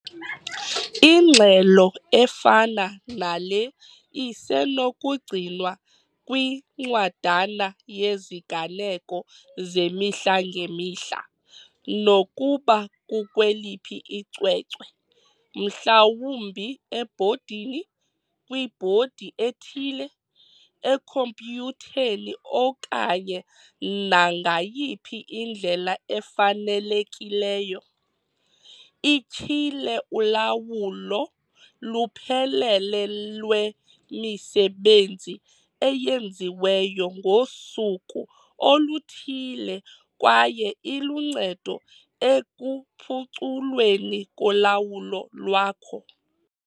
Ingxelo efana nale isenokugcinwa kwincwadana yeziganeko zemihla ngemihla, nokuba kukweliphi icwecwe, mhlawumbi ebhodini, kwibhodi ethile, ekhompyutheni okanye nangayiphi indlela efanelekileyo. Ityhile ulawulo luphelele lwemisebenzi eyenziweyo ngosuku oluthile kwaye iluncedo ekuphuculweni kolawulo lwakho.